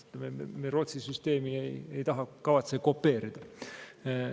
Rootsi süsteemi me ei taha, ei kavatse kopeerida.